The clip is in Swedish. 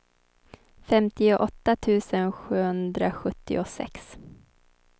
femtioåtta tusen sjuhundrasjuttiosex